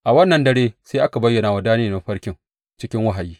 A wannan dare sai aka bayyana wa Daniyel mafarkin cikin wahayi.